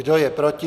Kdo je proti?